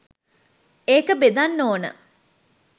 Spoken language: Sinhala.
ඒක බෙදන්න ඕන.